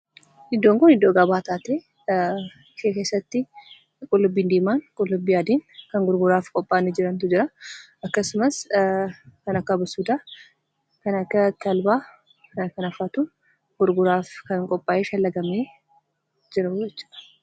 Iddoon kun, iddoo gabaati. Achi keessatti qullubbii diimaan qullubbii adiin kan gurguraaf qophaa'anii jirantu jira. akkasumas kan akka abasuudaa, kan akka talbaa kan kana fa'aatu gurguraaf qophaa'ee shallagamee jiruu jechuudha.